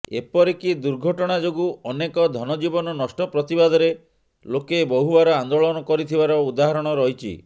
ଏପରିକି ଦୁର୍ଘଟଣା ଯୋଗୁଁ ଅନେକ ଧନଜୀବନ ନଷ୍ଟ ପ୍ରତିବାଦରେ ଲୋକେ ବହୁବାର ଆନ୍ଦୋଳନ କରିଥିବାର ଉଦାହରଣ ରହିଛି